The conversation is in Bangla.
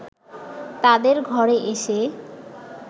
তাদের ঘরে এসে